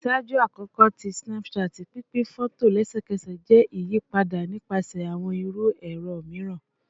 Ṣaaju akoko ti Snapchat, pinpin fọto lẹsẹkẹsẹ jẹ iyipada nipasẹ awọn iru ẹrọ miiran